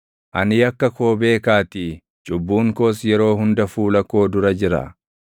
Ani yakka koo beekaatii; cubbuun koos yeroo hunda fuula koo dura jira.